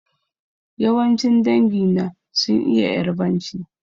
Yawancin dangi na sun iya Ƴarbanci.